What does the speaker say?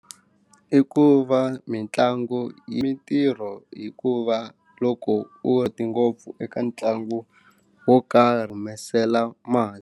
I ku va mitlangu yi mintirho hikuva loko u hete ngopfu eka ntlangu wo karhi humesela mali.